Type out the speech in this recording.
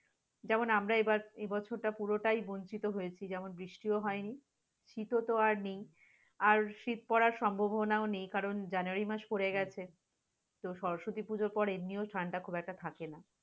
যেমন আমরা এবার এবছরটা পুরোটাই বঞ্চিত হয়েছি যেমন বৃষ্টিও হয়নি শীতো আরনেই, আর শীত পরার সম্ভাবনাও নেই কারণ january মাস পড়েগেছে, তো সরস্বতী পূজার পরে এমনিও ঠাণ্ডা খুব একটা থাকে না।